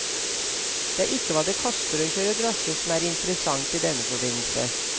Det er ikke hva det koster å kjøre drosje som er interessant i denne forbindelse.